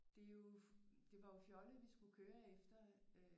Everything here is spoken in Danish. Det er jo det var jo fjollet at vi skulle køre efter